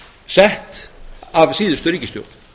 sett af síðustu ríkisstjórn